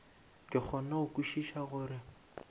ke kgone go kwešiša gore